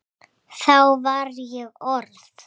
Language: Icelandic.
Þá var ég orð